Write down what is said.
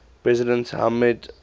president hamid karzai